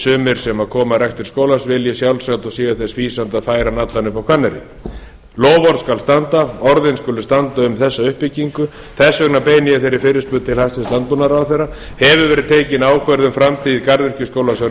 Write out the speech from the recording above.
sumir sem koma að rekstri skólans vilji að sjálfsagt og séu þess fýsandi að færa hann allan upp á hvanneyri loforð skal standa orðin skulu standa um þessa uppbyggingu þess vegna beini ég þeirri fyrirspurn til hæstvirts landbúnaðarráðherra hefur verið tekin ákvörðun um framtíð garðyrkjuskólans að